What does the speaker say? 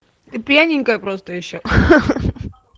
ты пьяненькая просто ещё ха-ха